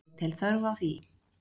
Ég tel þörf á því.